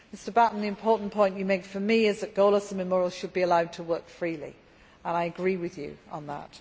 Mr Batten, the important point you make for me is that Golos and Memorial should be allowed to work freely and I agree with you on that.